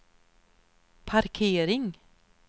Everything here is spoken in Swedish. parkering